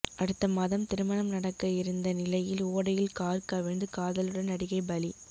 அடுத்த மாதம் திருமணம் நடக்க இருந்த நிலையில் ஓடையில் கார் கவிழ்ந்து காதலனுடன் நடிகை பலி